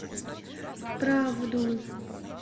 правду